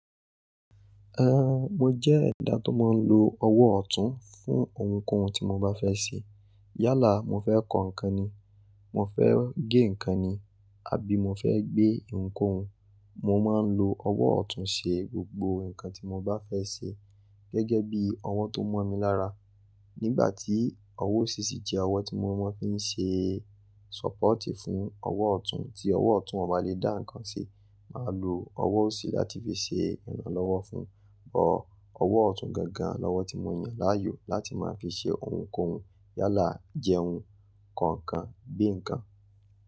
Mo jẹ́ ẹ̀dá tó máa ń lo ọwọ́ ọ̀tún fún ohunkóhun tí mo bá fẹ́ ṣe. Yálà mo fẹ́ kọ nǹkan ni, mo fẹ́ gé nǹkan ni àbí mo fẹ́ gbé ohunkóhun, mo máa ń lo ọwọ́ ọ̀tún ṣe gbogbo nǹkan tí mo bá fẹ́ ṣe gẹ́gẹ́ bí ọwọ́ tó mo mi lára. Nígbà tí ọwọ́ ọ̀sì sì jẹ́ ọwọ́ tí mo mú fi ń ṣe support fún ọwọ́ ọ̀tún tí ọwọ́ ọ̀tún ò bá lè dá nǹkan ṣe, màá lo ọwọ́ ọ̀sì láti fi ṣe ìrànlọ́wọ́ fún un. Ọwọ́ ọ̀tún gangan lọ́wọ́ tí mo yàn láàyò láti máa fi ṣe ohunkóhun yálà jẹun, kọ nǹkan, gbé nǹkan.